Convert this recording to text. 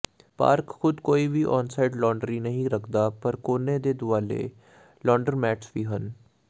park ਖੁਦ ਕੋਈ ਵੀ ਆਨਸਾਈਟ ਲਾਂਡਰੀ ਨਹੀਂ ਰੱਖਦਾ ਪਰ ਕੋਨੇ ਦੇ ਦੁਆਲੇ ਲਾਡਰ੍ਰੋਮੈਟਸ ਵੀ ਹਨ